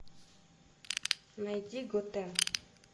найди готэм